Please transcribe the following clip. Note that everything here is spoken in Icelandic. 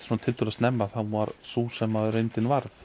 tiltölulega snemma varð sú sem reyndin varð